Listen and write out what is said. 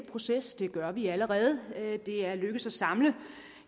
proces det gør vi allerede det er lykkedes at samle